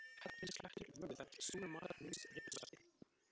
Hellirsklettur, Vöðufell, Súrmatarhnaus, Ribbusvelti